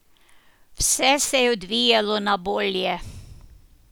Vse se je odvijalo na bolje.